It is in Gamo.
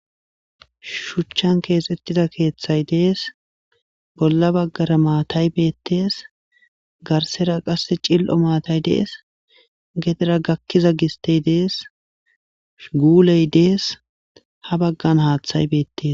shuchchan keexettida keeththay dees bolla baggara maataybeettees garsera qasse cil7o maatay dees gedera gakkiza gistey dees guuley dees ha baggan haaththay beettees